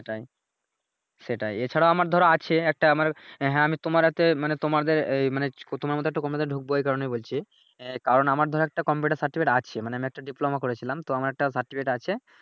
সেটাই সেটাই এছাড়া আমার ধরো আছে একটা আমার হ্যাঁ আমি তোমার হাতে মানি তোমাদের মানি তোমার মত একটা কোম্পানিতে ডুকবো এই কারনেই বলছি আহ কারন আমার ধরো একটা কম্পিউটার সার্টিফিকেট আছে মানে একটা ডিপ্লোমা করেছিলাম তো আমার একটা সার্টিফিকেট আছে